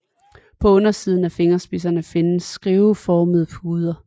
På undersiden af fingerspidserne findes skiveformede puder